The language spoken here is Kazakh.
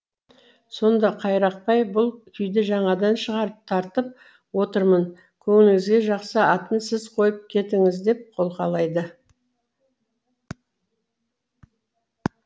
сонда қайрақбай бұл күйді жаңадан шығарып тартып отырмын көңіліңізге жақса атын сіз қойып кетіңіз деп қолқалайды